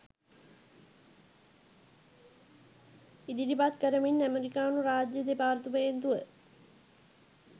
ඉදිරිපත් කරමින් ඇමෙරිකානු රාජ්‍ය දෙපාර්තමේන්තුව